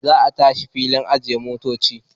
Za a tashi filin ajiye motoci.